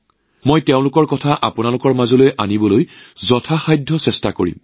মইও আপোনালোকৰ ওচৰলৈ সেইবোৰ আনিবলৈ যৎপৰোনাস্তি চেষ্টা কৰিম